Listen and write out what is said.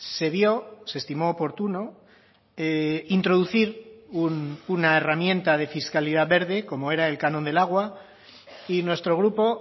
se vio se estimó oportuno introducir una herramienta de fiscalidad verde como era el canon del agua y nuestro grupo